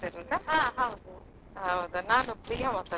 ಹಾ ಹೌದು.